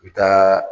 I bɛ taa